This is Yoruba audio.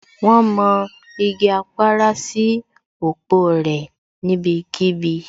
Wón mọ igi Apara sí òpó rẹ̀ níbí kíbi